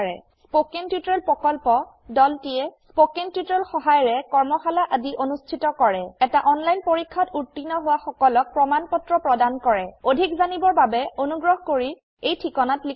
spoken tutorial প্ৰকল্পৰ দলটিয়ে spoken tutorial সহায়িকাৰে কৰ্মশালা আদি অনুষ্ঠিত কৰে এটা অনলাইন পৰীক্ষাত উত্তীৰ্ণ হোৱা সকলক প্ৰমাণ পত্ৰ প্ৰদান কৰে অধিক জানিবৰ বাবে অনুগ্ৰহ কৰি contactspoken tutorialorg এই ঠিকনাত লিখক